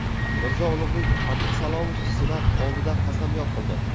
Mirzo-Ulug‘bek Abdusalomov senat oldida qasamyod qildi.